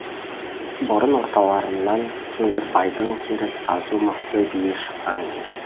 бұрын орталарынан кеңгірбайдың теріс азу мықты биі шыққан ел